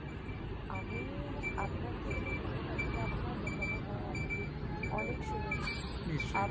আমি আপনার থেকে নেবো কেনো কি আপনার দোকানের নাম অনেক শুনেছি